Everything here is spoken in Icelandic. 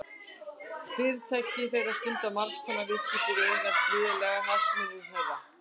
Fyrirtæki þeirra stundar margs konar viðskipti við England, gríðarlegir hagsmunir, herra.